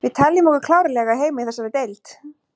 Við teljum okkur klárlega eiga heima í þessari deild.